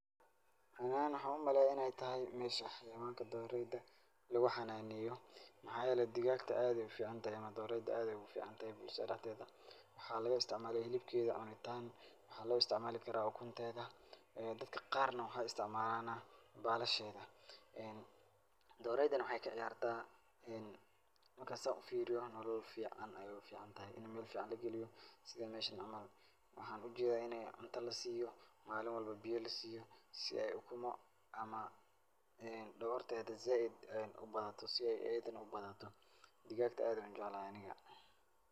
Run ahaan waxan u maleeyaa in ay tahay meesha hayawanka dhoorayda lugu xanaaneeyo maxaa yeelay digaagta aad ayaay u ficantahay ama dhoorayda aad ayaa uficantahay bulshada dhexdeeda. Waxaa laga istacmaala hilibkeeda cunitaan. Waxaa loo istacmaali kara ukunteeda. Dadka qaarna waxaay istacmaalaan baalasheeda. Dhooraydan waxaay kaciyaarta marka aan saa u fiiriyo noolol fican ayaay u ficantahay.In meel ficaan lageliyo sida meesha camal. Waxaan ujeeda inay cunto la siiyo, maalin walbo biyo la siiyo si ay ukumo ama dhogeteeda zaaid ubadato si ay ayida u badato. digaato aad ayaan u jeclahay aniga.